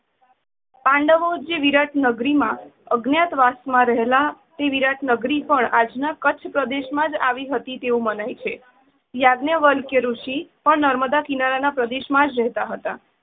પાડવો જે વિરાટ નગરી માં અજ્ઞાત વાસ માં રહેલા તે વિરાટનગરી પણ આજ ના કચ્છ પ્રદેશમાં જ આવી હતી તેવું મનાય છે. યજ્ઞાવલ્ક્ય ઋષિ પણ નર્મદા કિનારા ના પ્રદેશ માં જ રહેતા હતા.